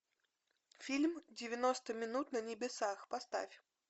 фильм девяносто минут на небесах поставь